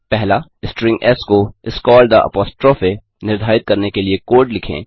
string S को इस called the apostrophe निर्धारित करने के लिए कोड लिखें